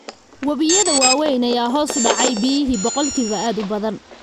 Wabiyada waaweyn ayaa hoos u dhacay biyihii boqolkiiba aad u badan.